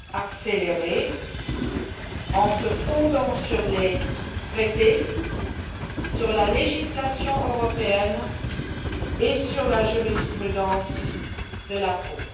accélérées, en se fondant sur les traités, sur la législation européenne et sur la jurisprudence de la Cour.